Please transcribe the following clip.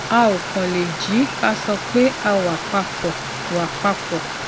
a ò kàn lè jí ká sì sọ pé a wà pa pọ wà pa pọ